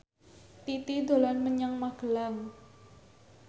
Titi dolan menyang Magelang